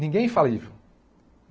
Ninguém é infalível.